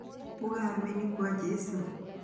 Uga ameni kwa Jesu.